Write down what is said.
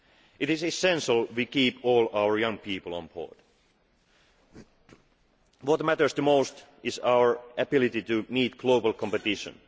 concept. It is essential we keep all our young people on board. What matters the most is our ability to meet global